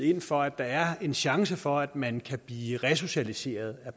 ind for at der er en chance for at man kan blive resocialiseret